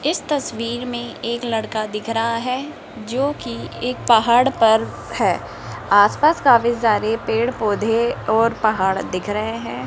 इस तस्वीर में एक लड़का दिख रहा है जो की एक पहाड़ पर है आसपास काफी सारे पेड़ पौधे और पहाड़ दिख रहे हैं।